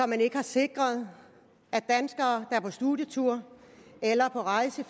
man ikke har sikret at danskere er på studietur eller på rejse